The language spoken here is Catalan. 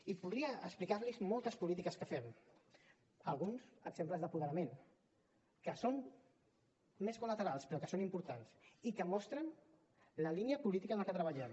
i podria explicar los moltes polítiques que fem alguns exemples d’apoderament que són més col·laterals però que són importants i que mostren la línia política en què treballem